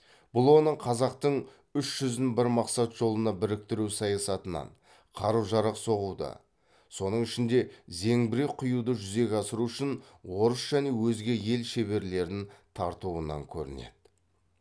бұл оның қазақтың үш жүзін бір мақсат жолына біріктіру саясатынан қару жарақ соғуды соның ішінде зеңбірек құюды жүзеге асыру үшін орыс және өзге ел шеберлерін тартуынан көрінеді